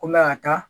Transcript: Ko n bɛ ka taa